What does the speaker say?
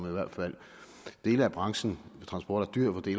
i hvert fald dele af branchen med transport